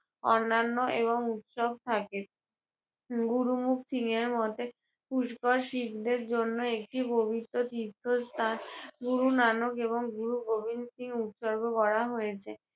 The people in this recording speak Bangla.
অন্যান্য এবং উৎসব থাকে। উম গুরু মতে পুষ্কর শিখদের জন্য একটি পবিত্র তীর্থস্থান গুরু নানক এবং গুরু গোবিন্দ সিং উৎসর্গ করা হয়েছে।